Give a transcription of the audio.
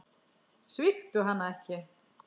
Svíktu hana ekki.